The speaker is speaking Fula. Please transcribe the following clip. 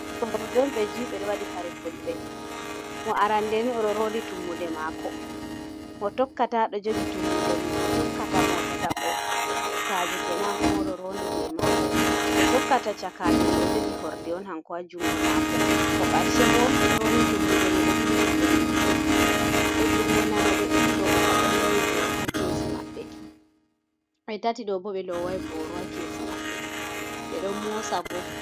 Ɓikoy rewɓe on ɓe juy ɓe ɗo waɗi kare fulɓe, mo arannde ni o ɗo ronndi tummude maako, mo tokkata ɗo jogi tummude mum, mo tokkata mo tataɓo, cakaajo keenan hanko maa o ɗo ronndi jey maako, mo tokkata cakaajo ni ɗo jogi horde on hanko haa junngo maako, mo karce bo ronndi tummude mey ɗo bili juuɗe mum ɗiɗi, ɓe junngo nano ɓe ɗiɗi ɗo ɓe pat ɓe loowi booro haa keesi maɓɓe, ɓe tati ɗoo bo ɓe loowaayi booro haa keesi maɓɓe ɓe ɗon moosa bo.